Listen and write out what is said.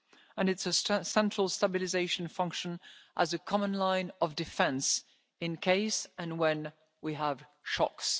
uses and it is a central stabilisation function as a common line of defence in case and when we have